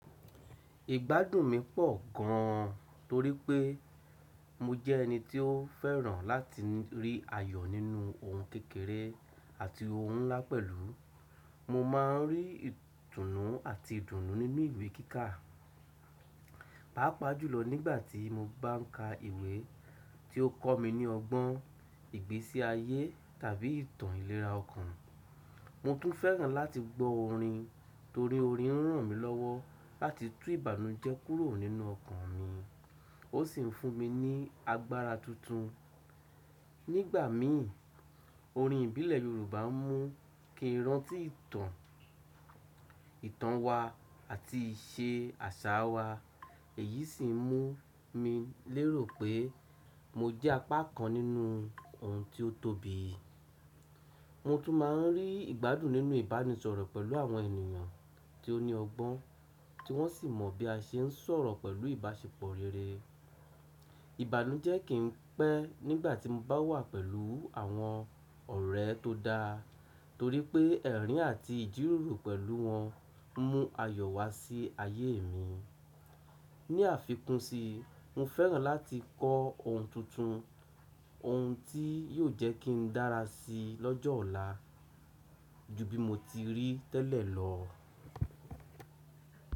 Ìgbádùn mi pọ̀ gan torí pé mo jẹ́ ẹni tí ó fẹ́ràn láti rí ayọ̀ nínú ohun kékeré àti ohun ńlá pẹ̀lú. Mo ma n rí ìtùnú àti ìdùnnú nínú ìwé kíkà, pàápàá jùlọ nígbàtí mo bá n ka ìwé tí ó kọ́ mi ní ọgbọ́n, ìgbésí ayé tàbí ìtàn ìlera ọkàn. Mo tún fẹ́ràn láti gbọ́ orin torí orin ń ràn mí lọ́wọ́ láti tú ìbànújẹ́ kúrò nínú ọkàn mi, ó sì ń fún mi ní agbára tuntun. Nígbà mi orin ìbílẹ̀ Yorùbá ń mú kí n rántí ìtàn, ìtàn wa àti ìṣe àṣà wa èyí sì ń mú mi lérò pé mo jẹ́ apá kan nínú ohun tí ó tóbi. Mo tún ma ń rí ìgbádùn nínú ìbánisọ̀rọ̀ pẹ̀lú àwọn ènìyàn tí ó ní ọgbọ́n tí wọ́n sì mọ̀ bí a ṣe ń sọ̀rọ̀ pẹ̀lú ìbáṣepọ̀ rere. Ìbànújẹ́ kì í pẹ́ nígbàtí mo bá wà pẹ̀lú àwọn ọ̀rẹ́ tó da, torí pé ẹ̀rín àti ìjíròrò pẹ̀lú wọn ń mú ayọ̀ wá sí ayé mi. Ni àfikún sí, mo fẹ́ràn láti kọ́ ohun tuntun, ohun tí yóò jẹ́ kí n dára si lọ́jọ́ ọ̀la ju bí mo ti rí tẹ́lẹ̀ lọ.